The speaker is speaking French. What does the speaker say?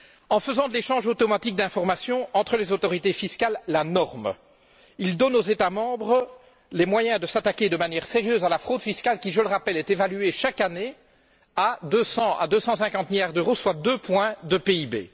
En faisant de l'échange automatique d'informations entre les autorités fiscales la norme, ils donnent aux États membres les moyens de s'attaquer de manière sérieuse à la fraude fiscale qui, je le rappelle, est évaluée chaque année entre 200 et 250 milliards d'euros, soit deux points de PIB.